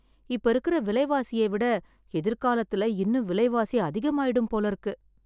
இப்ப இருக்கிற விலைவாசியை விட எதிர்காலத்துல இன்னும் விலைவாசி அதிகமாயிடும் போல இருக்கு.